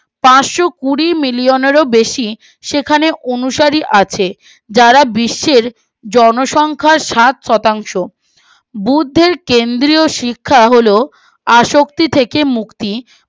পার্সো কুড়ি মিলিয়নের ও বেশি সেখানে অনুসারী আছে যারা বিশ্বের জনসংখ্যার সাত শতাংশ বুর্ধের কেন্দ্রীয় শিক্ষা হলো আসক্তি থেকে মুক্তি